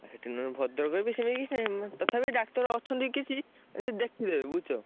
ସେଠି ମୁଁ ଭଦ୍ରକରେ ବି ସେଇ ସେଇ ମୁଁ ତଥାପି doctor ଅଛନ୍ତି କିଛି ସେ ଦେଖିଦେବେ ବୁଝୁଛ?